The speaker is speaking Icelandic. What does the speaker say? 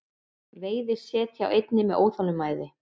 Veiði set hjá einni með óþolinmæði